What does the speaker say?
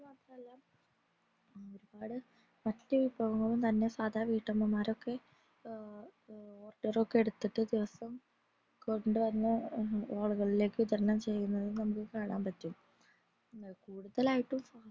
അതു മാത്രമല്ല ഒരുപാട് ഭക്ഷ്യ വിഭവങ്ങൾ തന്നെ സാദാ വീട്ടമ്മമാർ തന്നെ order എടുത്തിട്ട് ഓരോ ദിവസം കൊണ്ട് വന്നു ആളുകളിലെക് വിതരണം ചെയ്യുന്നത് നമുക് കാണാൻ പറ്റും കൂടുതലായിട്ടും